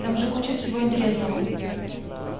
там же куча всего интересного